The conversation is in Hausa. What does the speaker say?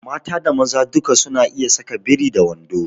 Da mata da maza duk su na iya saka biri da wando